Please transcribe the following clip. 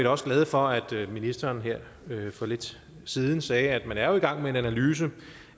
også glade for at ministeren her for lidt siden sagde at man jo er i gang med en analyse